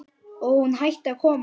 Og hún hætti að koma.